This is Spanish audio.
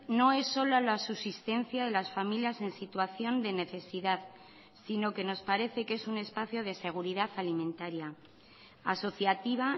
no es solo la subsistencia las familias en situación de necesidad sino que nos parece que es un espacio de seguridad alimentaría asociativa